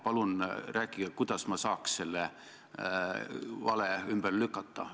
Palun rääkige, kuidas ma saaks selle vale ümber lükata.